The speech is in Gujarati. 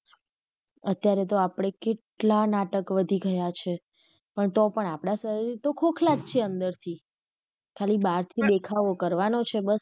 અત્યારે તો આપડે કેટલા નાટક વધી ગયા છે પણ તો પણ આપડા શરીર તો ખોખલા જ છે અંદર થી ખાલી બહાર થી દેખાવો કરવાનો છે બસ.